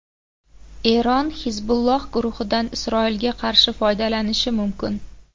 Eron Hizbulloh guruhidan Isroilga qarshi foydalanishi mumkin.